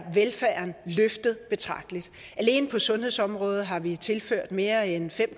velfærden løftet betragteligt alene på sundhedsområdet har vi tilført mere end fem